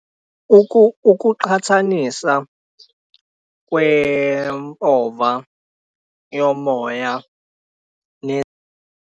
Ukuqhathanisa kwempova yomoya .